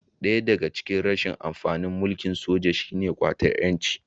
Daya daga cikin rashin amfanin mulkin soja shi ne ƙwatar 'yanci